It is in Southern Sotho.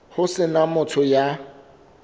ho se na motho ya